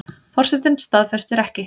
Forsetinn staðfestir ekki